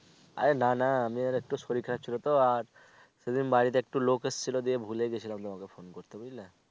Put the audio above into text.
আরে না না আমি একটু শরীর খারাপ ছিলো তো আর সেই দিন বাড়িতে একটু লোক এসছিলো সে দিন ভুলে গেছিলাম তোমাকে phone করতে বুঝলে